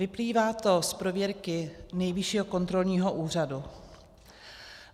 Vyplývá to z prověrky Nejvyššího kontrolního úřadu.